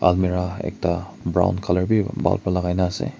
almirah ekta brown color b bhal para lagai na ase.